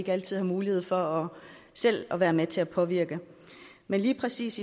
ikke altid har mulighed for selv at være med til at påvirke men lige præcis